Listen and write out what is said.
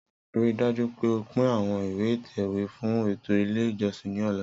Rii daju pe o pin awọn ìwẹ̀ ìtẹ̀wè fun eto ile ijọsin ni ọla!